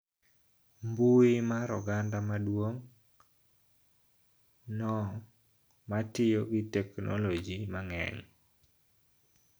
Mbui mar oganda maduong` no ma tiyo gi teknoloji mang`eny